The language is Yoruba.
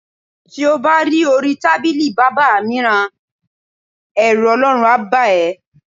Ti o bá ri orí tábìlì bábà mìíràn, è̩rù O̩ló̩run á bà é̩.